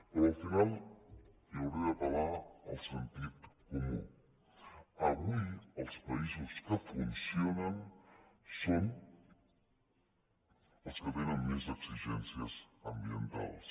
però al final li hauré d’apel·lar al sentit comú avui els països que funcionen són els que tenen més exigències ambientals